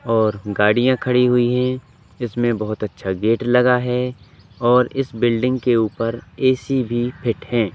और गाड़ियां खड़ी हुई है। इसमें बहोत अच्छा गेट लगा है और इस बिल्डिंग के ऊपर ए_सी फिट है।